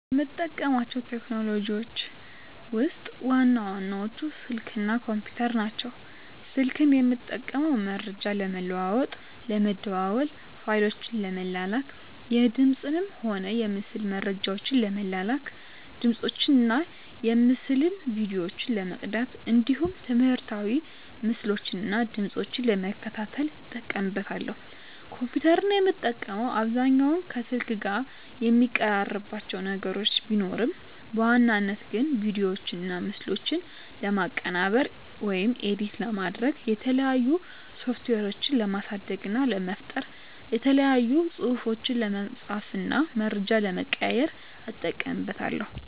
ከምጠቀማቸው ቴክኖሎጂዎችን ውስጥ ዋና ዋናዎቹ ስልክ እና ኮምፒተር ናቸው። ስልክን የምጠቀመው መረጃ ለመለዋዎጥ ለመደዋዎል፣ ፋይሎችን ለመላላክ፣ የድምፅንም ሆነ የምስል መረጃዎችን ለመላላክ፣ ድምፆችን እና የምስል ቪዲዮዎችን ለመቅዳት እንዲሁም ትምህርታዊ ምስሎችን እና ድምጾችን ለመከታተል እጠቀምበታለሁ። ኮምፒተርን የምጠቀምበት አብዛኛውን ከስልክ ጋር የሚቀራርባቸው ነገር ቢኖርም በዋናነት ግን ቪዲዮዎችና ምስሎችን ለማቀነባበር (ኤዲት) ለማድረግ፣ የተለያዩ ሶፍትዌሮችን ለማሳደግ እና ለመፍጠር፣ የተለያዩ ፅሁፎችን ለመፃፍ እና መረጃ ለመቀያየር ... እጠቀምበታለሁ።